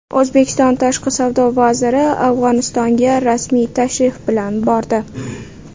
O‘zbekiston tashqi savdo vaziri Afg‘onistonga rasmiy tashrif bilan bordi.